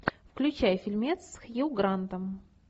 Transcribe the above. включай фильмец с хью грантом